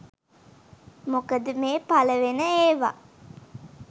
මොකද මේ පළවෙන ඒවා